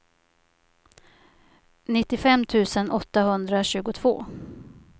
nittiofem tusen åttahundratjugotvå